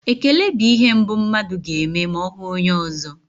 Ekele bụ ihe mbụ mmadụ ga-eme ma ọ hụ onye ọzọ.